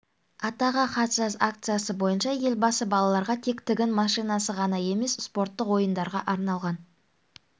атаға хат жаз акциясы бойынша елбасы балаларға тек тігін машинасы ғана емес спорттық ойындарға арналған